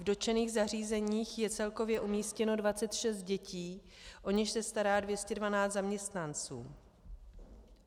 V dotčených zařízeních je celkově umístěno 26 dětí, o něž se stará 212 zaměstnanců.